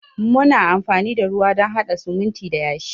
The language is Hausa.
Muna amfani da ruwa don hada sumunti da yashi.